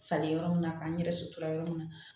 Falen yɔrɔ min na k'an yɛrɛ sotra yɔrɔ min na